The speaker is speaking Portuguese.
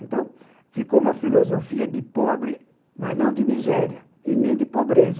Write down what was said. Então, ficou uma filosofia de pobre, mas não de miséria, e nem de pobreza.